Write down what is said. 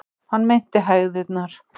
Hann meinti hægðirnar.